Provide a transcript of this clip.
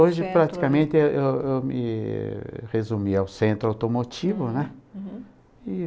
Hoje, praticamente, eu eu me resumi ao centro automotivo, né? Uhum. E...